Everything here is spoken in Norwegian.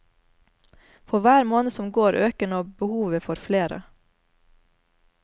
For hver måned som går, øker nå behovet for flere.